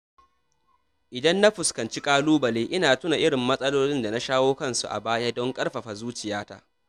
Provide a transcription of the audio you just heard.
Idan na fuskanci ƙalubale, ina tuna irin matsalolin da na shawo kansu a baya don ƙarfafa zuciya.